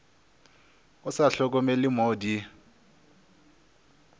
o sa hlokomele mo di